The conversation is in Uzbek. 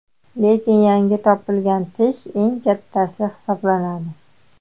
Lekin yangi topilgan tish eng kattasi hisoblanadi.